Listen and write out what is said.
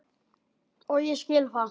Og ég skil það.